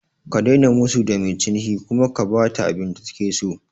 Ka daina musu da mai ciniki kuma ka bata abinda take so